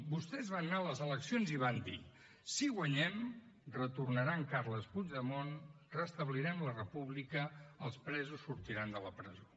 vostès van anar a les eleccions i van dir si guanyem retornarà en carles puigdemont restablirem la república els presos sortiran de la presó